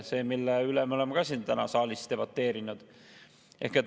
Selle üle me oleme siin saalis täna juba debateerinud.